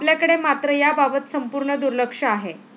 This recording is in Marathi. आपल्याकडे मात्र याबाबत संपूर्ण दुर्लक्ष आहे.